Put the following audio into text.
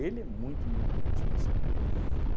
é muito, muito, muito especial.